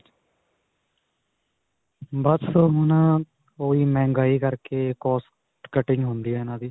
ਬਸ ਹੁਣ, ਓਹੀ ਮਹਿੰਗਾਈ ਕਰਕੇ, cost cutting ਹੁੰਦੀ ਹੈ ਇਨ੍ਹਾਂ ਦੀ.